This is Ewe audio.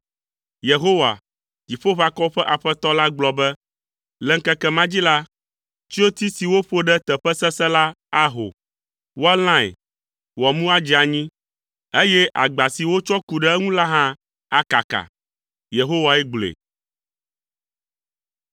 Yehowa, Dziƒoʋakɔwo ƒe Aƒetɔ la gblɔ be, “Le ŋkeke ma dzi la, tsyoti si woƒo ɖe teƒe sesẽ la aho. Woalãe, wòamu adze anyi, eye agba si wotsɔ ku ɖe eŋu la hã akaka.” Yehowae gblɔe.